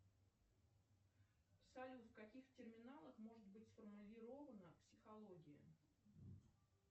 салют в каких терминалах может быть сформулирована психология